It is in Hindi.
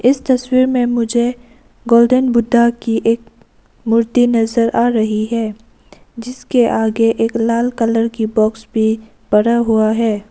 इस तस्वीर में मुझे गोल्डन बुद्धा की एक मूर्ति नजर आ रही है जिसके आगे एक लाल कलर की बॉक्स भी बना हुआ है।